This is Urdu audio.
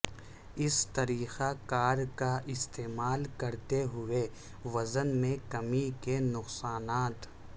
اس طریقہ کار کا استعمال کرتے ہوئے وزن میں کمی کے نقصانات